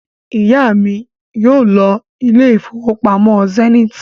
Ìyá mi yóò lọ ilé ìfowópamọ́ Zenith